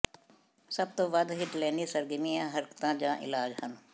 ਸਭ ਤੋਂ ਵੱਧ ਹਿਟਲੈਨੀ ਸਰਗਰਮੀਆਂ ਹਰਕਤਾਂ ਜਾਂ ਇਲਾਜ ਹਨ